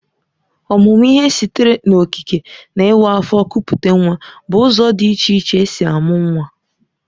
Ọmụmụ ihe sitere n'okike na ịwa afọ kupute nwa bụ ụzọ dị iche iche e si amụ nwa